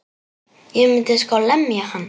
Ég myndi sko lemja hann.